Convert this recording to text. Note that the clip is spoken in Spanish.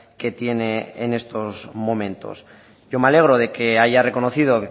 que tiene en estos momentos yo me alegro de que haya reconocido